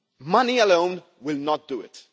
Money alone will not do it.